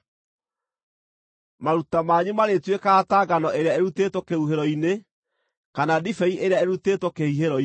Maruta manyu marĩtuĩkaga ta ngano ĩrĩa ĩrutĩtwo kĩhuhĩro-inĩ, kana ndibei ĩrĩa ĩrutĩtwo kĩhihĩro-inĩ.